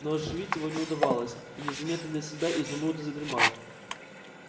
но оживить его не удавалось и незаметно для себя изумруд задремал